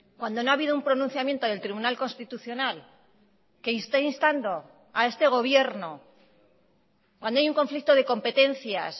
cuando no ha habido un pronunciamiento del tribunal constitucional que esté instando a este gobierno cuando hay un conflicto de competencias